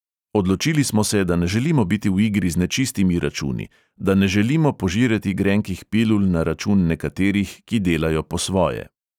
Odločili smo se, da ne želimo biti v igri z nečistimi računi, da ne želimo požirati grenkih pilul na račun nekaterih, ki delajo po svoje.